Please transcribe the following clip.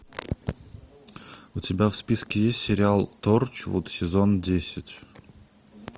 у тебя в списке есть сериал торчвуд сезон десять